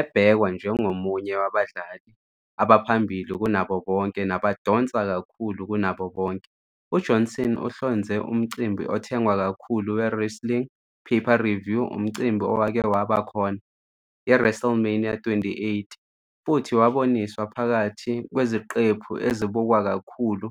Ebhekwa njengomunye wabadlali abaphambili kunabo bonke nabadonsa kakhulu kunabo bonke, uJohnson uhlonze umcimbi othengwa kakhulu we-wrestling pay-per-view umcimbi owake waba khona, iWrestleMania XXVIII, futhi waboniswa phakathi kweziqephu ezibukwa kakhulu